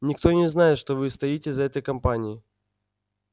никто не знает что вы стоите за этой кампанией